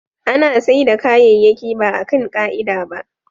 ana saida kayayyaki baa kan ka'ida ba